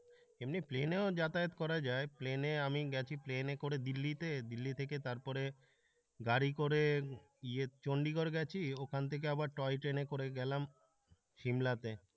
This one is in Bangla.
এমনি প্লেনেও যাতায়াত করা যায় প্লেনে আমি গেছি প্লেনে করে দিল্লিতে, দিল্লি থেকে তারপরে গাড়ি করে ইয়ে চন্ডিগড় গেছি ওখান থেকে আবার টয় ট্রেনে করে গেলাম সিমলাতে।